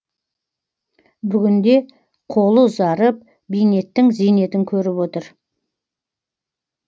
бүгінде қолы ұзарып бейнеттің зейнетін көріп отыр